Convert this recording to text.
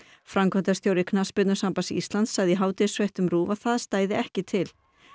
framkvæmdastjóri Knattspyrnusambands Íslands sagði í hádegisfréttum RÚV að það stæði ekki til